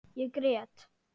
Ég grét.